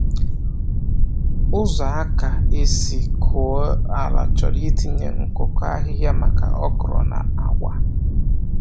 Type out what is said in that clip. Ụzọ aka esi kụọ ala chọrọ itinye nkụkọ ahịhịa maka okra na agwa.